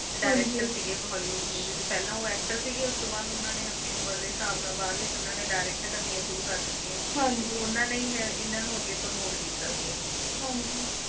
Director ਸੀ ਓਹ Hollywood Movie ਦੇ ਪਹਿਲਾ ਓਹ Actor ਸੀ ਉਸਤੋ ਬਾਅਦ ਆਪਣੀ ਉਮਰ ਦੇ ਅਨੁਸਾਰ ਬਾਅਦ ਵਿਚ ਓਹਨਾ ਨੇ Direct ਕਰਨੀਆਂ ਸ਼ੁਰੂ ਕੀਤੀਆਂ ਓਹਨਾ ਨੇ ਹੀ ਇਹਨਾਂ ਨੂੰ Promote ਕੀਤਾ ਸੀਗਾ